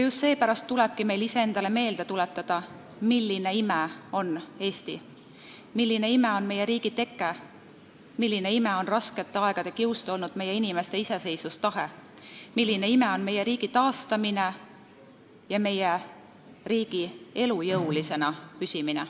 Just seepärast tulebki meil iseendale meelde tuletada, milline ime on Eesti, milline ime on meie riigi teke, milline ime on raskete aegade kiuste olnud meie inimeste iseseisvustahe, milline ime on meie riigi taastamine ja meie riigi elujõulisena püsimine.